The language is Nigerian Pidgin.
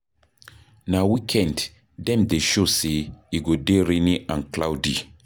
Na weekend dem dey show say e go dey rainy and cloudy.